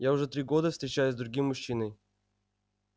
я уже три года встречаюсь с другим мужчиной